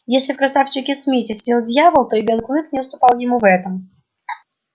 если в красавчике смите сидел дьявол то и белый клык не уступал ему в этом